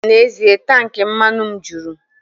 N'ezie, tank mmanụ m juru